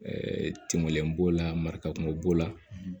tɛmɛb'o la mara kunko b'o la